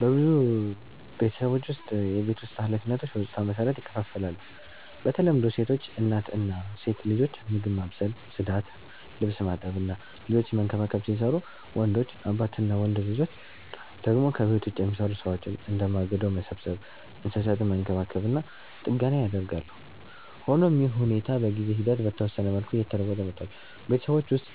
በብዙ ቤተሰቦች ውስጥ የቤት ውስጥ ኃላፊነቶች በጾታ መሰረት ይከፋፈላሉ። በተለምዶ ሴቶች (እናት እና ሴት ልጆች) ምግብ ማብሰል፣ ጽዳት፣ ልብስ ማጠብ እና ልጆችን መንከባከብ ሲሰሩቡ፣ ወንዶች (አባት እና ወንድ ልጆች) ደግሞ ከቤት ውጭ የሚሰሩ ሥራዎችን፣ እንደ ማገዶ መሰብሰብ፣ እንስሳትን መንከባከብ እና ጥገና ያደርጋሉ። ሆኖም ይህ ሁኔታ በጊዜ ሂደት በተወሰነ መልኩ እየተለወጠ መጥቷል። ቤተሰቦች ውስጥ